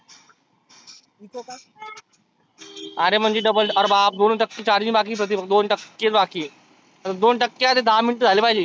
आरे म्हणजे डब आरे बाप दोनच टक्के charging बाकी आहे प्रतीक दोन टक्केच बाकी आहे. दोन टक्के मध्ये दहा minute झाले पाहीजे.